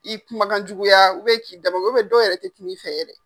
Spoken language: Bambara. I kumakan jukuya k'i damagoya, dɔw yɛrɛ te kuma i fɛ yɛrɛ .